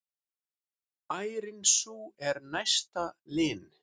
Ærin sú er næsta lin.